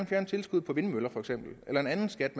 fjerne tilskuddet på vindmøller for eksempel eller en anden skat